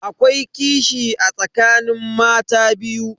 Akwai kishi a tsakanin mata biyu.